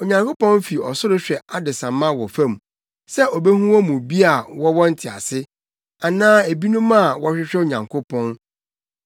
Onyankopɔn fi ɔsoro hwɛ adesamma wɔ fam sɛ obehu wɔn mu bi a wɔwɔ ntease, anaa ebinom a wɔhwehwɛ Onyankopɔn.